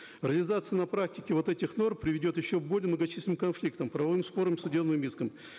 реализация на практике вот этих норм приведет еще к более многочисленным конфликтам правовым спорам и судебным искам